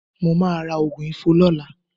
Mo máa ra òògùn ifo lọ́la